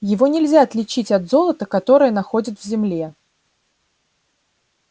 его нельзя отличить от золота которое находят в земле